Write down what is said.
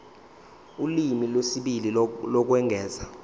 ulimi lwesibili lokwengeza